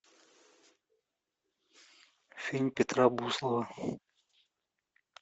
фильм петра буслова